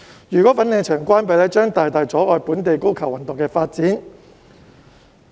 如果粉嶺球場關閉，將會大大阻礙本地高爾夫球運動的發展。